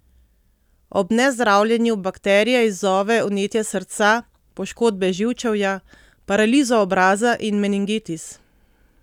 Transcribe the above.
Ob nezdravljenju bakterija izzove vnetje srca, poškodbe živčevja, paralizo obraza in meningitis.